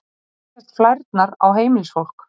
þar leggjast flærnar á heimilisfólk